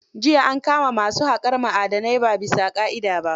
Jiya an kama masu haƙar ma'adanai ba bisa ƙa'ida ba.